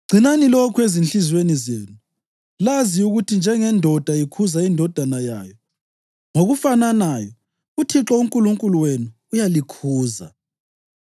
Gcinani lokhu ezinhliziyweni zenu lazi ukuthi njengendoda ikhuza indodana yayo, ngokufananayo uThixo uNkulunkulu wenu uyalikhuza.